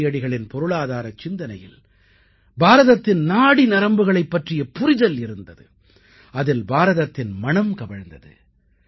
காந்தியடிகளின் பொருளாதாரச் சிந்தனையில் பாரதத்தின் நாடி நரம்புகளைப் பற்றிய புரிதல் இருந்தது அதில் பாரதத்தின் மணம் கமழ்ந்தது